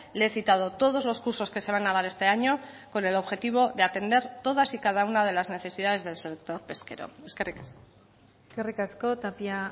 le he citado todos los cursos que se van a dar este año con el objetivo de atender todas y cada una de las necesidades del sector pesquero eskerrik asko eskerrik asko tapia